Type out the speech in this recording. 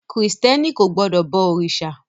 Krìstẹ́ni kò gbọdọ̀ bọ òrìṣà.